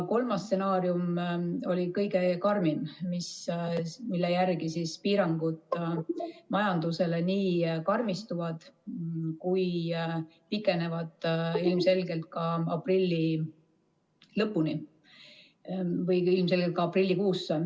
Kolmas stsenaarium oli kõige karmim, mille järgi piirangud majandusele nii karmistuvad kui ka pikenevad ka aprilli lõpuni või ilmselgelt aprillikuusse.